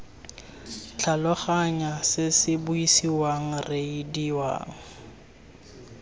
tlhaloganya se se buisiwang reediwang